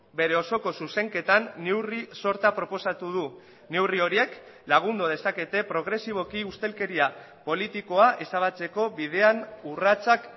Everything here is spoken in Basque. bere osoko zuzenketan neurri sorta proposatu du neurri horiek lagundu dezakete progresiboki ustelkeria politikoa ezabatzeko bidean urratsak